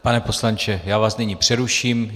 Pane poslanče, já vás nyní přeruším.